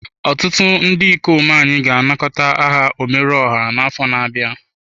Ọtụtụ ndị ikom anyị ga-anakọta aha omeruoha afọ na-abịa.